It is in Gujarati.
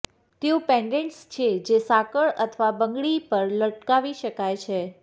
તેઓ પેન્ડન્ટ્સ છે જે સાંકળ અથવા બંગડી પર લટકાવી શકાય છે